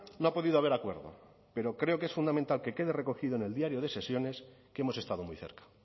no ha podido haber acuerdo pero creo que es fundamental que quede recogido en el diario de sesiones que hemos estado muy cerca